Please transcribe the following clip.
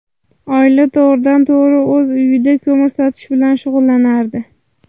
Oila to‘g‘ridan to‘g‘ri o‘z uyida ko‘mir sotish bilan shug‘ullanardi.